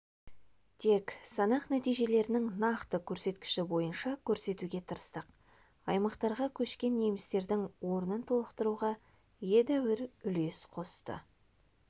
тек санақ нәтижелерінің нақты көрсеткіші бойынша көрсетуге тырыстық аймақтарға көшкен немістердің орнын толықтыруға едәуір үлес қосты